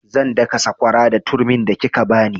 Zan daka sakwara da turmin da kika bani